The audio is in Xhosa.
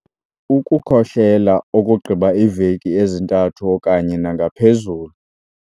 Ukukhohlela okugqiba iiveki ezintathu okanye nangaphezulu.